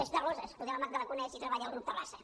és de roses poder la magda la coneix si treballa al grup terraza